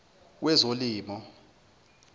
wezolimo